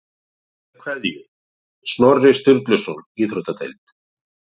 Með kveðju, Snorri Sturluson Íþróttadeild